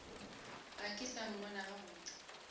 ga ke sa mmona gabotse